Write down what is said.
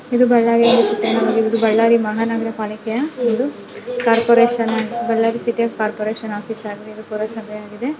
ಇದು ಬಳ್ಳಾರಿಯ ಚಿತ್ರಣವಾಗಿದ್ದು ಇದು ಬಳ್ಳಾರಿ ಮಹಾನಗರ ಪಾಲಿಕೆಯ ಒಂದು corporation and Ballari city of corporation office ಆಗಿದೆ ಇದು ಪುರಸಭೆಯಾಗಿದೆ.